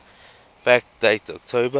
fact date october